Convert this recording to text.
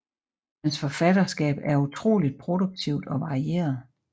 Hans forfatterskab er utroligt produktivt og varieret